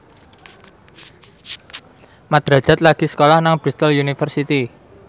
Mat Drajat lagi sekolah nang Bristol university